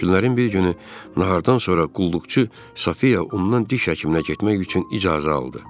Günlərin bir günü nahardan sonra qulluqçu Sofiya ondan diş həkiminə getmək üçün icazə aldı.